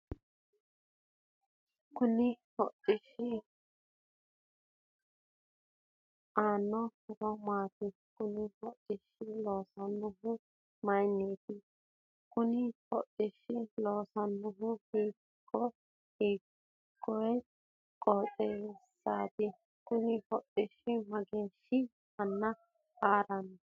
Kuni hodhishshi aano horro maati.? Konne hodhishsha loosonihu mayiiniti.? Konni hodhishshi leellanohu hiikoe qooxessati.? Kunni hodhishshi mageeshshi Mana harrano ?